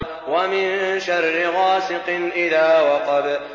وَمِن شَرِّ غَاسِقٍ إِذَا وَقَبَ